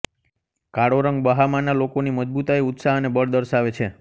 કાળો રંગ બહામાના લોકોની મજબૂતાઇ ઉત્સાહ અને બળ દર્શાવે છે